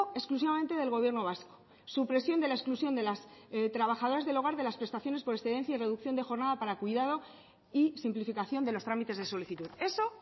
exclusivamente del gobierno vasco supresión de la exclusión de las trabajadoras del hogar de las prestaciones por excedencia y reducción de jornada para cuidado y simplificación de los trámites de solicitud eso